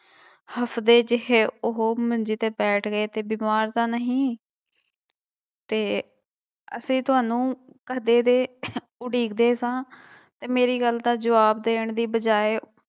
ਹਫ਼ਦੇ ਜਿਹੇ ਉਹ ਮੰਜੀ ਤੇ ਬੈਠ ਗਏ ਤੇ ਬਿਮਾਰ ਤਾਂ ਨਹੀਂ ਤੇ ਅਸੀਂ ਤੁਹਾਨੂੰ ਕਦੇ ਦੇ ਉੱਡੀਕਦੇ ਸਾਂ, ਤੇ ਮੇਰੀ ਗੱਲ ਦਾ ਜਵਾਬ ਦੇਣ ਦੀ ਬਜਾਏ